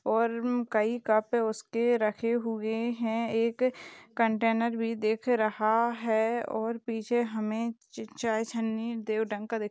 और कहीं कप है उसके रखे हुए हैं एक कंटेनर भी देख रहा है। और पीछे हमें च चाय छन्नी देव ढंग का--